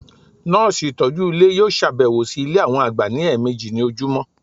Nọ́ọ̀sì ìtọ́jú Ilé yíò sàbẹ̀wò sí Ilé àwọn àgbà ní ẹ̀ẹ̀mẹjì ní ojúmọ́